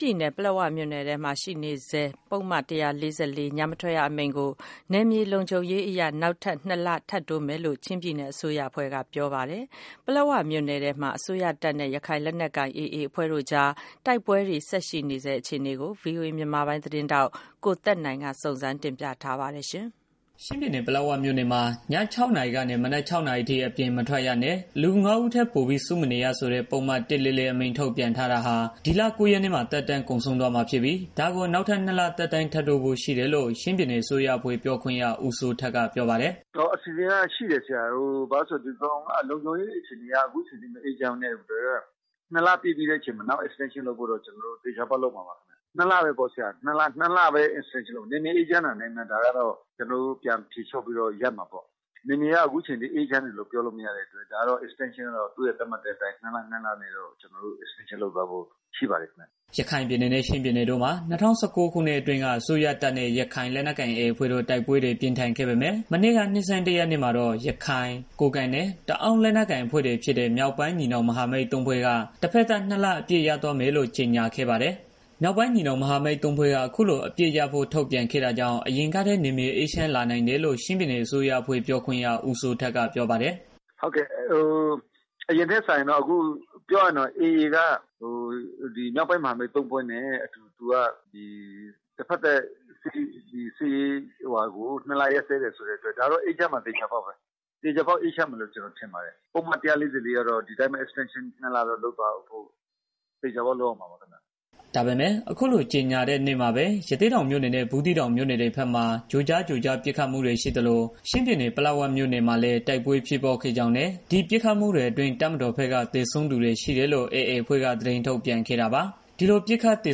ပြည်နယ် ပလက်ဝ မြို့နယ်မှာ ထုတ်ပြန်ထားတဲ့ ပုဒ်မ ၁၄၄ ညမထွက်အမိန့်ကို နယ်မြေလုံခြုံရေးအရ နောက်ထပ် နှစ်လ ထပ်ထိုးမယ်လို့ ချင်းပြည်နယ် အစိုးရအဖွဲ့က ပြောပါတယ်။ ပလက်ဝ မြို့နယ်ထဲမှာ တိုက်ပွဲတွေလည်း ဆက်ပြီး ဖြစ်ပွားနေဆဲပါ။ ဒီသတင်းအပြည့်အစုံ ကိုတော့ ဗွီအိုအေ မြန်မာပိုင်း သတင်းထောက် ကိုသက်နိုင်က တင်ပြပေးမှာပါ။ ချင်းပြည်နယ် ပလက်ဝမြို့နယ်မှာ ည နာရီကနေ မနက် နာရီအထိ အပြင်မထွက်ရနဲ့ လူ ဦးထက် ပိုပြီး စု မနေရဆိုတဲ့ ပုဒ်မ အမိန့် ထုတ်ပြန်ထားတာဟာ ဒီလ ၉ရက်နေ့မှာ သက်တမ်း ကုန်ဆုံး တော့မှာ ဖြစ်ပြီး ဒါကို နောက်ထပ် နှစ်လ သက်တမ်း ထပ်တိုးဖို့ ရှိတယ်လို့ ချင်းပြည်နယ် အစိုးရအဖွဲ့ပြောခွင့်ရ ဦးစိုးထက် က ပြောပါတယ်။ “ညမထွက်ရ ထုတ်ဖို့ အစီအစဉ်ရှိတယ်။ ဘာလို့လဲဆိုတော့ လုံခြုံရေး အခြေအနေအရ အခုအချိန်ထိမအေး ချမ်းသေးဘူး။ နှစ်လ ပြည့်ပြီးတဲ့ အချိန်မှာတော့ extension လုပ်ဖို့ ကျနော်တို့ သေချာပေါက် ထုတ်မှာပါ။ နှစ်လပဲပေါ့။ နယ်မြေအေးချမ်းတာနဲ့ ကျနော်တို့ ပြန်ဖြေလျော့ပြီးတော့ ကျနော်တို့ ရပ်မှာပေါ့။ နယ်မြေက အခုအချိန်ထိ အေးချမ်း တယ်လို့ ပြောလို့ မရသေးတော့ ညမထွက်ရအမိန့်ကို နှစ်လစီ extension ထုတ်သွားဖို့ ရှိပါတယ်။” ရခိုင်ပြည်နယ်နဲ့ ချင်းပြည်နယ်တို့မှာ ၂၀၁၉ ခုနှစ်အတွင်းက အစိုးရတပ်နဲ့ ရခိုင်လက်နက်ကိုင် AAအဖွဲ့တို့ တိုက်ပွဲတွေ ပြင်းထန်ခဲ့ပေမယ့် မနေ့က နှစ်ဆန်းတရက်နေ့မှာတော့ ရခိုင် ကိုးကန့် နဲ့ တအာင်း လက်နက်ကိုင် အဖွဲ့တွေဖြစ်တဲ့ မြောက်ပိုင်း ညီနောင်မဟာမိတ် ၃ ဖွဲ့က တစ်ဖက်သတ် နှစ်လ အပစ်ရပ် သွားမယ်လို့ ကြေညာခဲ့ပါတယ်။ မြောက်ပိုင်း ညီနှောင် မဟာမိတ် ၃ဖွဲ့က အခုလို အပစ်ရပ်ဖို့ ထုတ်ပြန်ခဲ့တာကြောင့် အရင်ကထက် နယ်မြေအေးချမ်းလာနိုင်တယ်လို့ ချင်းပြည်နယ် အစိုးရအဖွဲ့ ပြောခွင့်ရ ဦးစိုးထက်က ပြောပါတယ်။ ‘အရင်ထက်စာရင်တော့ အခု AA အခုမြောက်ပိုင်းမဟာမိတ် ၃ဖွဲ့နဲ့ အတူ တစ်ဖက်သတ် စစ်ရေး နှစ်လ အပစ်ရပ်စဲတယ် ဆိုတဲ့အတွက် ဒါက အေးချမ်းမှာ သေချာပေါက်ပဲ။ သေချာပေါက် အေးချမ်းမယ်လို့ ကျနော်ထင်ပါတယ်။ ပုဒ်မ ၁၄၄ ကတော့ ဒီအတိုင်းပဲ extention သေချာပေါက် ဆက်လုပ်သွားမှာပါ ခင်မျာ။” ဒါပေမယ့် အခုလို ကြေညာတဲ့နေ့မှာပဲ ရသေ့တောင် မြို့နယ်နဲ့ ဘူးသီးတောင် မြို့နယ် တွေဘက်မှာ ကြိုကြားကြိုကြား ပစ်ခတ်မှု ရှိသလို ချင်းပြည်နယ၊် ပလက်ဝမြို့ နယ် မှာလည်း တိုက်ပွဲဖြစ်ပွားခဲ့ကြောင်း နဲ့ ဒီ ပစ်ခတ်မှုတွေ အတွင်း တပ်မတော်ဘက်က သေဆူံးသူတွေ ရှိတယ်လို့ AAအဖွဲ့က သတင်း ထုတ်ပြန် ခဲ့တာပါ။ ဒီလို ပစ်ခတ်သေ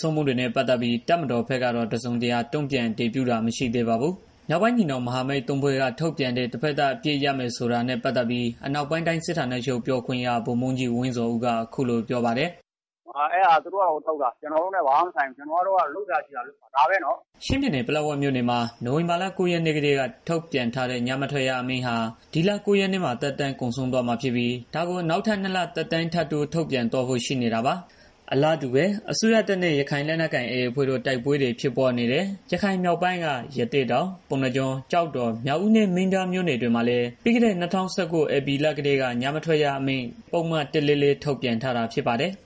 ဆုံးမှုတွေနဲ့ ပတ်သက်ပြီး တပ်မတော် ဘက်ကတော့ တစုံတရာ တုံ့ပြန် အတည်ပြုတာ မရှိသေးပါဘူး။ မြောက်ပိုင်း ညီနှောင်မဟာမိတ် ၃ဖွဲ့ က ထုတ်ပြန်တဲ့ တဖက်သတ် အပစ်ရပ်မယ် ဆိုတာ ပတ်သတ်ပြီး အနောက်ပိုင်းတိုင်းစစ်ဌာနချုပ် ပြောခွင့် ဗိုလ်မှူးကြီး ဝင်းဇော်ဦးက အခုလိုပြောပါတယ်။ “အဲတာက သူတို့ပါ သူတို့ထုတ်တာ ကျနော်တို့နဲ့ ဘာမှမဆိုင်ဘူး။ ကျနော်တို့က လုပ်စရာရှိတာကို လုပ်မှာ။ ဒါပဲနော်။” ချင်းပြည်နယ် ၊ပလက်ဝမြို့နယ်မှာ နိုင်ဝင်ဘာလ ၉ရက်နေ့ကတည်းက ထုတ်ပြန်ထားတဲ့ ညမထွက်ရ အမိန့်ဟာ ဒီလ ၉ရက်နေ့မှာ သက်တမ်း ကုန်ဆုံးတော့ မှာဖြစ်ပြီး ဒါကို နောက်ထပ် နှစ်လ သက်တမ်း ထပ်တိုး ထုတ်ပြန်သွားဖို့ ရှိနေတာပါ။ အလားတူပဲ အစိုးရတပ်နဲ့ AAအဖွဲ့တို့ တိုက်ပွဲတွေ ဖြစ်ပွားနေတဲ့ရခိုင်ပြည်မြောက်ပိုင်းက ရသေ့တောင်၊ ပုဏ္ဏားကျွန်း၊ ကျောက်တော်၊ မြောက်ဦးနဲ့ မင်းပြားမြို့နယ်တွေမှာလည်းပြီးခဲ့တဲ့ ၂၀၁၉ ဧပြီလ ကတည်းကညမထွက်ရအမိန့် ပုဒ်မ ၁၄၄ ထုတ်ပြန်ထား တာဖြစ်ပါတယ်။